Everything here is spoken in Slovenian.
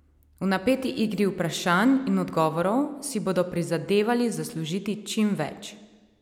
V napeti igri vprašanj in odgovorov si bodo prizadevali zaslužiti čim več.